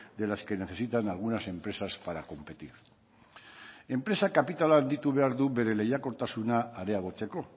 de las que necesitan algunas empresas para competir enpresa kapitala handitu behar du bere lehiakortasuna areagotzeko